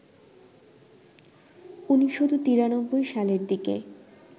১৯৯৩ সালের দিকে